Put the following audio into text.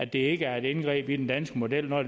det ikke er et indgreb i den danske model når